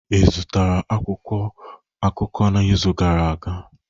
Ị zụtara akwụkwọ akụkọ n'izu gara aga?